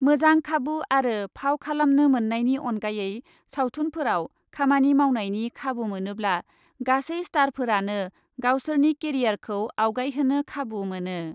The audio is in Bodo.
मोजां खाबु आरो फाव खालामनो मोन्नायनि अनगायै सावथुनफोराव खामानि मावनायनि खाबु मोनोब्ला, गासै स्टारफोरानो गावसोरनि केरियारखौ आवगायहोनो खाबु मोनो।